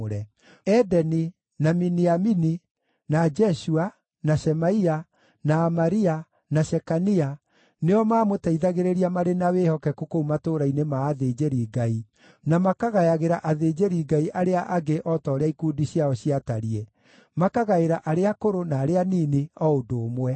Edeni, na Miniamini, na Jeshua, na Shemaia, na Amaria, na Shekania nĩo maamũteithagĩrĩria marĩ na wĩhokeku kũu matũũra-inĩ ma athĩnjĩri-Ngai, na makagayagĩra athĩnjĩri-Ngai arĩa angĩ o ta ũrĩa ikundi ciao ciatariĩ, makagaĩra arĩa akũrũ na arĩa anini o ũndũ ũmwe.